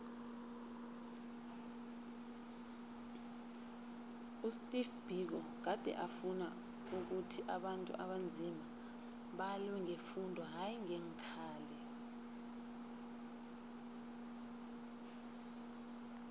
usteve biko gade afuna ukhuthi abantu abanzima balwe ngefundo hayi ngeenkhali